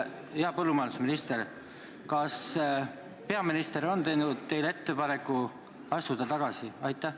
Hea põllumajandusminister, kas peaminister on teinud teile ettepaneku tagasi astuda?